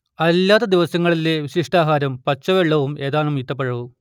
അല്ലാത്ത ദിവസങ്ങളിലെ വിശിഷ്ടാഹാരം പച്ചവെള്ളവും ഏതാനും ഈത്തപ്പഴവും